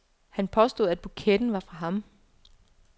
Han påstod, at buketten var fra ham.